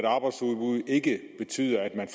arbejdsudbud ikke betyder at man